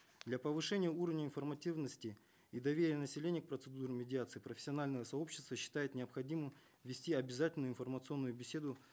для повышения уровня информативности и доверия населения к процедуре медиации профессиональное сообщество считает необходимым ввести обязательную информационную беседу